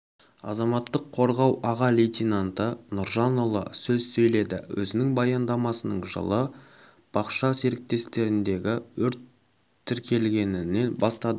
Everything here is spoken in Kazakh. азаматтық қорғау аға лейтенанты нұржанұлы сөз сөйледі өзінің баяндамасың жылы бақша серіктестіктерінде өрт тіркелгенінен бастады